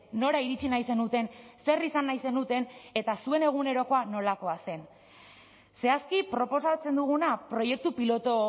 nora iritsi nahi zenuten zer izan nahi zenuten eta zuen egunerokoa nolakoa zen zehazki proposatzen duguna proiektu pilotu